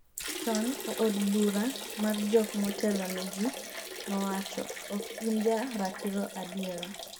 chon,e od bura mar jok motelo ne ji, nowacho'' ok in ja ratiro adiera